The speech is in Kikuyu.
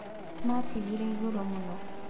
Maatigire igũrũ mũno.